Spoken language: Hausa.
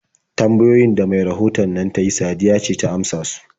Tambayoyin da mai rahoton nan ta yi Sadiya ce ta amsa su.